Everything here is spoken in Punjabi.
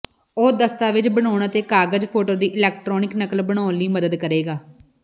ਉਹ ਦਸਤਾਵੇਜ਼ ਬਣਾਉਣ ਅਤੇ ਕਾਗਜ਼ ਫੋਟੋ ਦੀ ਇਲੈਕਟ੍ਰਾਨਿਕ ਨਕਲ ਬਣਾਉਣ ਲਈ ਮਦਦ ਕਰੇਗਾ